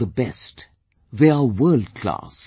They are the best... they are world class